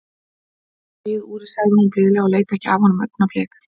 Það var lagið, Úri, sagði hún blíðlega og leit ekki af honum augnablik.